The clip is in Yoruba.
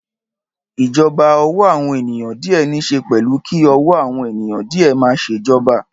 Ìjọba ọ̀wọ́ àwọn ènìyàn díẹ̀ níṣe pẹ̀lú kí ọ̀wọ́ àwọn ènìyàn díẹ̀ máa ṣe ìjọba.